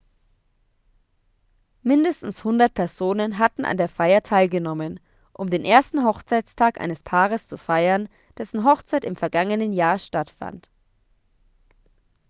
mindestens 100 personen hatten an der feier teilgenommen um den ersten hochzeitstag eines paares zu feiern dessen hochzeit im vergangenen jahr stattfand